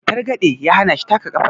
targade ya hana shi taka kafar